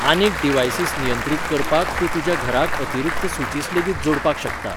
आनीक डीव्हाइसीस नियंत्रीत करपाक तूं तुज्या घराक अतिरीक्त स्विचीस लेगीत जोडपाक शकता